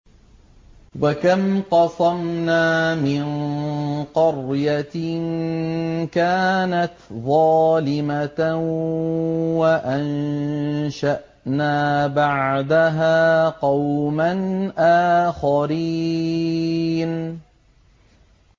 وَكَمْ قَصَمْنَا مِن قَرْيَةٍ كَانَتْ ظَالِمَةً وَأَنشَأْنَا بَعْدَهَا قَوْمًا آخَرِينَ